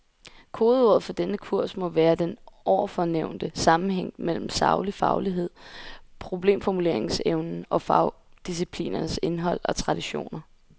Kodeordet for denne kurs må være den ovenfor nævnte sammenhæng mellem saglig faglighed, problemformuleringsevnen og fagdisciplinernes indhold og traditioner.